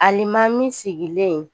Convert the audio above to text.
Alimami sigilen